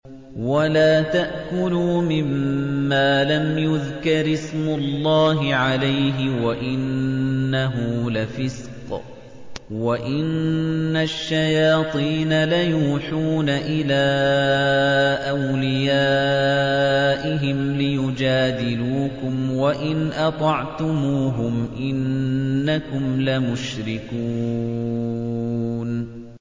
وَلَا تَأْكُلُوا مِمَّا لَمْ يُذْكَرِ اسْمُ اللَّهِ عَلَيْهِ وَإِنَّهُ لَفِسْقٌ ۗ وَإِنَّ الشَّيَاطِينَ لَيُوحُونَ إِلَىٰ أَوْلِيَائِهِمْ لِيُجَادِلُوكُمْ ۖ وَإِنْ أَطَعْتُمُوهُمْ إِنَّكُمْ لَمُشْرِكُونَ